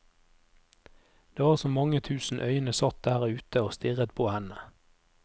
Det var som mange tusen øyne satt der ute å stirret på henne.